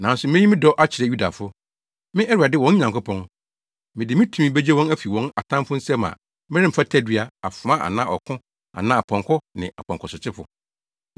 Nanso meyi me dɔ akyerɛ Yudafo. Me Awurade wɔn Nyankopɔn, mede me tumi begye wɔn afi wɔn atamfo nsam a meremfa tadua, afoa anaa ɔko anaa apɔnkɔ ne apɔnkɔsotefo.”